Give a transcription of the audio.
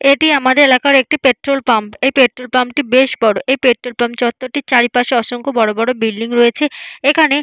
এটি আমাদের এলাকার একটি পেট্রোল পাম্প এই পেট্রোল পাম্প - টি বেশ বড় । এই পেট্রোল পাম্প চত্বর টির চারপাশে অসংখ্য বড় বড় বিল্ডিং রয়েছে । এখানে --